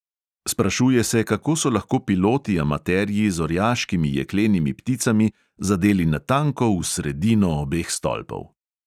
Sprašuje se, kako so lahko piloti amaterji z orjaškimi jeklenimi pticami zadeli natanko v sredino obeh stolpov.